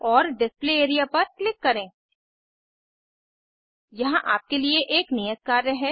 और display area पर click करें यहाँ आपके लिए एक नियत कार्य है